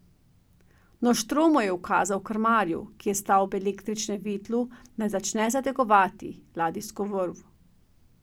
Noštromo je ukazal krmarju, ki je stal ob električnem vitlu, naj začne zategovati ladijsko vrv.